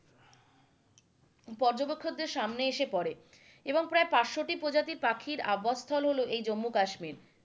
পর্যটকদের সামনে এসে পরে এবং প্রায় পাঁচশতটি পাখির আবাসস্থল হলো এই জম্মু কাশ্মীর,